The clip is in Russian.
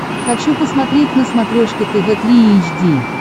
хочу посмотреть на смотрешке тв три эйч ди